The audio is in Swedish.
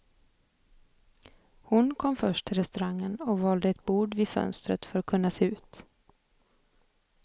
Hon kom först till restaurangen och valde ett bord vid fönstret för att kunna se ut.